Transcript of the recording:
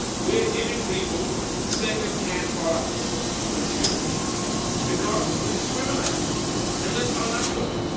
We're giving people second-hand products to consume because we discriminate, and let's own up to it.